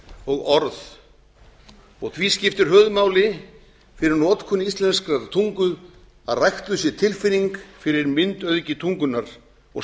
og orð og því skiptir höfuðmáli fyrir notkun íslenskrar tungu að ræktuð sé tilfinning fyrir myndauðgi tungunnar og